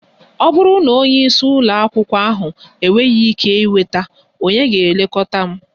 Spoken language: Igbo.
Ọ bụrụ na onye isi ụlọ akwụkwọ ahụ enweghị ike ịnweta, ònye ga-elekọta m?